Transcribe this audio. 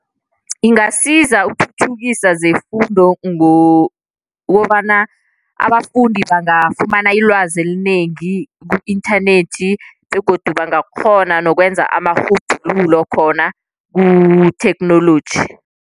Ingasiza ukuthuthukisa zefundo ngokobana abafundi bangafumana ilwazi elinengi ku-inthanethi begodu bangakghona nokwenza amarhubhululo khona kutheknoloji.